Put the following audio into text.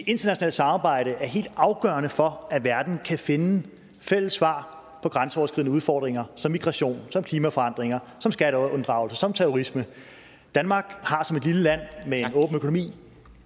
internationalt samarbejde er helt afgørende for at verden kan finde fælles svar på grænseoverskridende udfordringer som migration klimaforandringer skatteunddragelse og terrorisme danmark har som et lille land med en åben økonomi